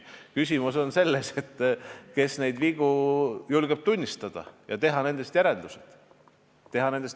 Küsimus on selles, kes julgeb vigu tunnistada ja nendest järeldusi teha.